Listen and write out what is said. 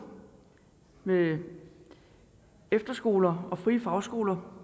med efterskoler og frie fagskoler